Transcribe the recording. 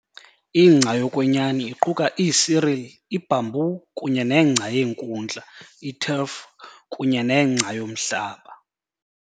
Ingca yokwenyani iquka iicereal, ibamboo kunye nengca yeenkundla, iturf, kunye nengca yomhlaba.